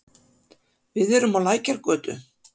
Við erum á Lækjargötu.